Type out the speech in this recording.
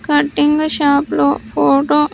Cutting shop లో photo .